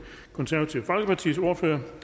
konservative folkepartis ordfører